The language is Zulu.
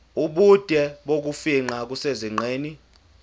ubude bokufingqa kusezingeni